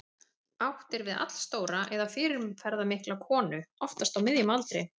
Átt er við allstóra eða fyrirferðarmikla konu, oftast á miðjum aldri.